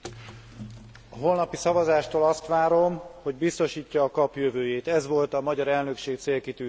A holnapi szavazástól azt várom, hogy biztosítja a KAP jövőjét ez volt a magyar elnökség célkitűzése is.